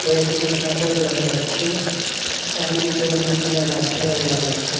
কয়েকটি কাপড় দেখা যাচ্ছে চারিদিকে অনেকগুলো গাছপালা দেখা যাচ্ছে।